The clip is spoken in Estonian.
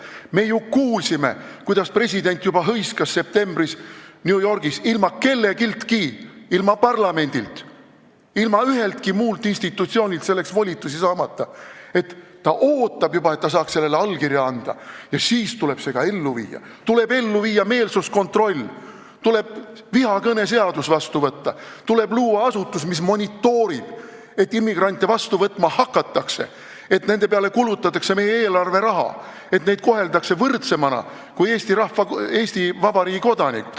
Me ju kuulsime, kuidas president hõiskas septembris New Yorgis – ilma kelleltki, ilma parlamendilt, ilma üheltki muult institutsioonilt selleks volitusi saamata –, et ta ootab juba, et ta saaks sellele allkirja anda, ja siis tuleb see ka ellu viia: tuleb ellu viia meelsuskontroll, tuleb vihakõneseadus vastu võtta, tuleb luua asutus, mis monitoorib, et immigrante vastu võtma hakataks, et nende peale kulutataks meie eelarveraha, et neid koheldaks võrdsemana kui Eesti Vabariigi kodanikke.